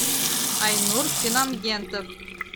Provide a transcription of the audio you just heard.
айнур финангентов